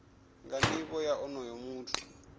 nga nivho ya onoyo muthu